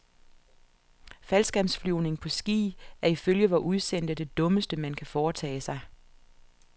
Faldskærmsflyvning på ski er ifølge vor udsendte det dummeste man kan foretage sig.